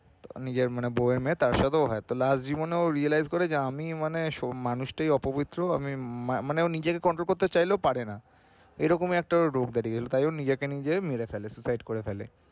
নিজের মানে বৌ এর মেয়ে তার সাথেও হয় তাহলে আর জীবনে ও realize করে যে আমি মানে সোম~ মানুষটাই অপবিত্র আমি মানে ও নিজেকে control করতে চাইলেও পারেনা এরকম একটা real করান নিজেকে নিজে মেরে ফেলে suicide করে ফেলে।